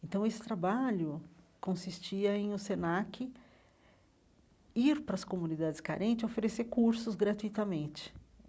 Então, esse trabalho consistia em o Senac ir para as comunidades carente e oferecer cursos gratuitamente.